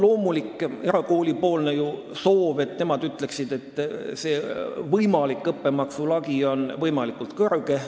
Loomulikult on erakoolidel soov, et õppemaksu lagi oleks võimalikult kõrge.